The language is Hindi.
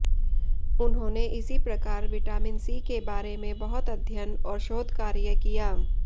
उन्होंने इसी प्रकार विटामिन सी के बारे में बहुत अध्ययन और शोधकार्य किया